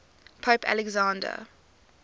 pope alexander